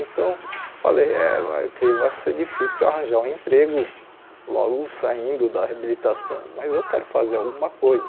Então, eu falei, eh vai creio vai ser difícil arranjar um emprego logo saindo da reabilitação, mas eu quero fazer alguma coisa.